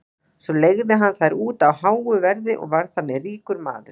svo leigði hann þær út á háu verði og varð þannig ríkur maður